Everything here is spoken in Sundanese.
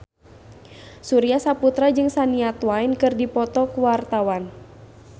Surya Saputra jeung Shania Twain keur dipoto ku wartawan